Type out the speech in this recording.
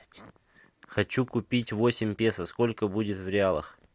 хочу купить восемь песо сколько будет в реалах